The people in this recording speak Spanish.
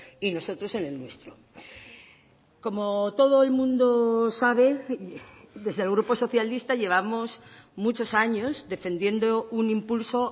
y nosotros en el nuestro como todo el mundo sabe desde el grupo socialista llevamos muchos años defendiendo un impulso